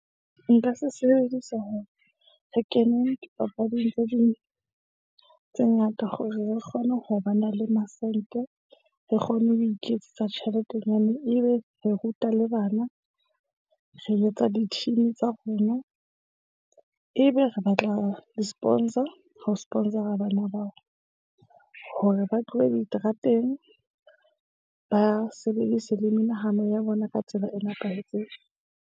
Nka se sebedisa hore re kene dipapading tse ding tse ngata hore re kgone ho ba na le masente. Re kgone ho iketsetsa tjheletenyana e be re ruta le bana. Re etsa di-team tsa rona, ebe re batla di-sponsor. Ho sponsor-a bana bao hore ba tlohe diterateng, ba sebedise le menahano ya bona ka tsela e nepahetseng.